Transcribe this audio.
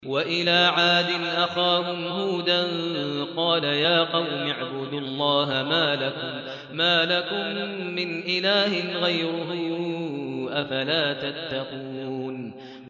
۞ وَإِلَىٰ عَادٍ أَخَاهُمْ هُودًا ۗ قَالَ يَا قَوْمِ اعْبُدُوا اللَّهَ مَا لَكُم مِّنْ إِلَٰهٍ غَيْرُهُ ۚ أَفَلَا تَتَّقُونَ